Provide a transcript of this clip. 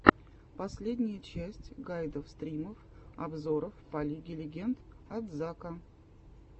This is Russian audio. последняя часть гайдов стримов обзоров по лиге легенд от зака